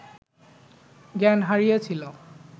জ্ঞান হারিয়েছিল